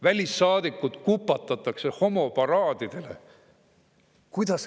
Välissaadikud kupatatakse homoparaadidele.